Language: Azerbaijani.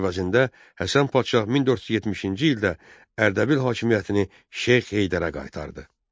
Əvəzində Həsən padşah 1470-ci ildə Ərdəbil hakimiyyətini Şeyx Heydərə qaytardı.